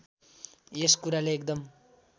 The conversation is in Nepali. यस कुराले एकदम